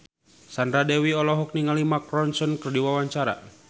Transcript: Sandra Dewi olohok ningali Mark Ronson keur diwawancara